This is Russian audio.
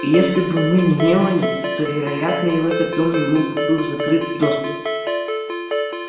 и если бы не мелани то вероятно и в этот дом ему был бы закрыт доступ